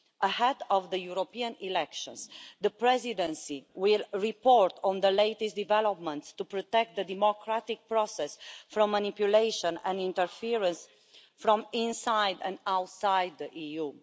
Ahead of the European elections, the Presidency will report on the latest developments to protect the democratic process from manipulation and interference from inside and outside the EU.